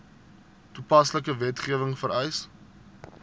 toepaslike wetgewing vereis